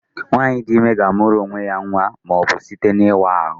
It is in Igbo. Nwaanyị dị ime ga-amụrụ onwe ya nwa ma ọ bụ site n'ịwa ahụ